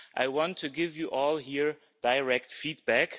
I want to give you all here direct feedback.